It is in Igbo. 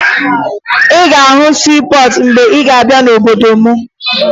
Ị ga-ahụ siipọọtụ mgbe ị ga-abịa n'obodo m